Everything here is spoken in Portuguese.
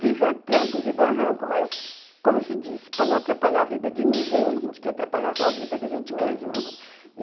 Vivo a trancos e barrancos, mas, como se diz, para não atrapalhar a vida de ninguém, a gente quer atrapalhar só a vida da gente mesma